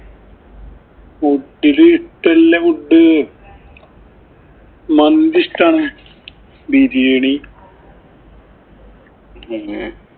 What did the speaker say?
Food ഇല് ഇഷ്ടം ഉള്ള food മന്തി ഇഷ്ടാണ്. ബിരിയാണി പിന്നെ